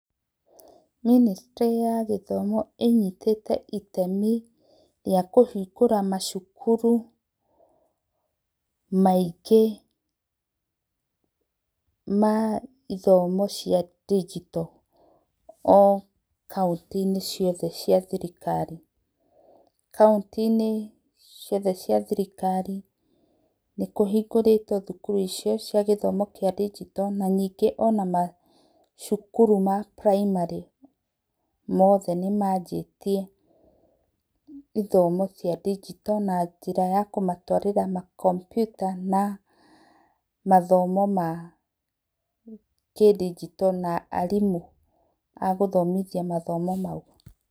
Mĩnĩstrĩ ya gĩthomo ĩnyitĩte itemi rĩa kũhĩngũra mackũrũ maĩngĩ ma ithomo cia ndĩgĩto o kaũntĩ inĩ ciothe cia thĩrĩkarĩ kaũntĩ inĩ ciothe cia thĩrĩkarĩ, nĩ kũhĩngũrĩtwo thũkũrũ icio cia gĩthomo kĩa ndĩgĩto na nĩnge ona macũkũrũ ma primary mothe nĩ manjĩtĩe ithomo cia ndĩgĩto na njĩra ya kũmatwarĩra makampyũta na mathomo ma kĩndĩgĩto na arĩmũ a gũthomĩthĩa mathomo maũ.